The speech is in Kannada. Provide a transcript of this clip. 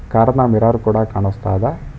ಕಾರ್ ನ ಮಿರರ್ ಕೂಡ ಕಾಣಸ್ತಾಯಿದೆ.